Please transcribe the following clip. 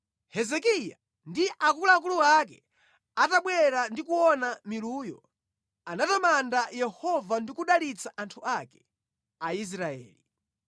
Hezekiya ndi akuluakulu ake atabwera ndi kuona miluyo, anatamanda Yehova ndi kudalitsa anthu ake, Aisraeli.